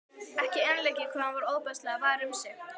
Ekki einleikið hvað hann var ofboðslega var um sig.